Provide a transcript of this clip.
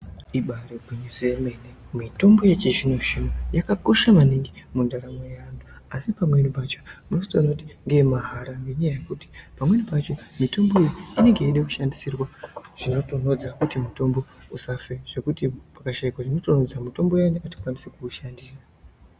Ibairi ngwinyiso yemene mitombo yechi zvino zvino yaka yaka kosha maningi mundaramo yevantu asi pamweni pacho unotozona kuti ndewe mahara ngenya yekuti pamweni pacho mutombo uwu inenge yeida kushandiriswa zvino tonhodza kuti mutombo usafe zvekuti paka shaikwa zvino tondodza mutombo wo atikwanise kuushandisa